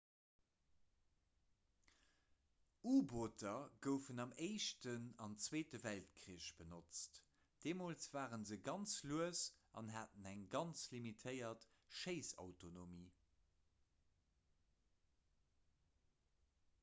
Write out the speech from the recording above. u-booter goufen am éischten an zweete weltkrich benotzt deemools ware se ganz lues an haten eng ganz limitéiert schéissautonomie